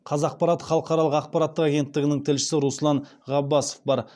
қазақпарат халықаралық ақпарат агенттігінің тілшісі руслан ғаббасов бар